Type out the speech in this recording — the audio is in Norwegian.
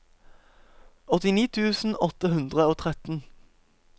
åttini tusen åtte hundre og tretten